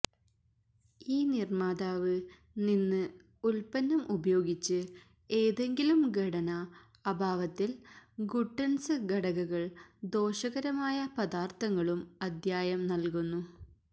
ഈ നിർമ്മാതാവ് നിന്ന് ഉൽപ്പന്നം ഉപയോഗിച്ച് ഏതെങ്കിലും ഘടന അഭാവത്തിൽ ഗുട്ടന്സ് ഘടകങ്ങൾ ദോഷകരമായ പദാർത്ഥങ്ങളും അദ്യായം നൽകുന്നു